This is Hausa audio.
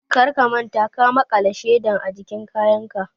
Kar ka manta ka makala sheda ajikin kayanka!